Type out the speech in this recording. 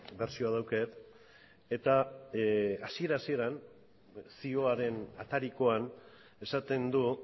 bertsioa daukat eta hasiera hasieran zioaren atarikoan esaten du